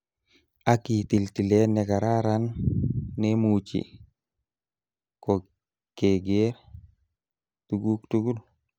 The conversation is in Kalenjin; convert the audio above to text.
Ak itil tilet nekararan nemuchii, kokegeer tuguk tugul.